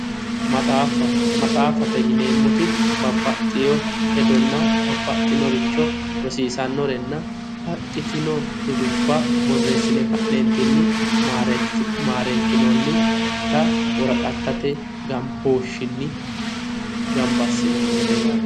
Maxaaffa maxaaffate yineemmoti babbaxxewo hedonna babbaxxinoricho rosiisannorenna baxxitino dudubba borreessine ka'neentinni maareekkinoonnita woraqattate gambooshinni gamba assinoonnite yaate